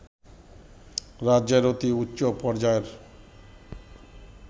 রাজ্যের অতি উচ্চপর্যায়ের